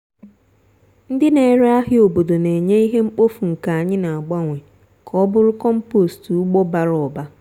ndị n'ere ahịa obodo n'enye ihe mkpofu nke anyị n'agbanwe ka ọ bụrụ compost ugbo bara ụba.